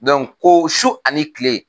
ko su ani kile.